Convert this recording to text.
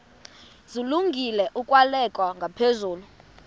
zilungele ukwalekwa ngaphezulu